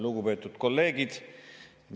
Lugupeetud kolleegid!